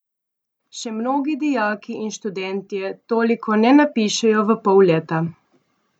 Še mnogi dijaki in študentje toliko ne napišejo v pol leta.